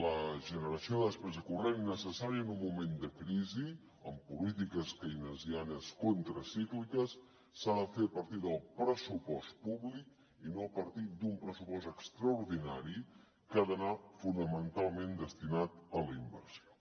la generació de despesa corrent necessària en un moment de crisi amb polítiques keynesianes contracícliques s’ha de fer a partir del pressupost públic i no a partir d’un pressupost extraordinari que ha d’anar fonamentalment destinat a la inversió